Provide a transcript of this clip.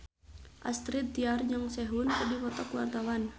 Astrid Tiar jeung Sehun keur dipoto ku wartawan